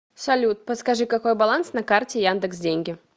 салют подскажи какой баланс на карте яндекс деньги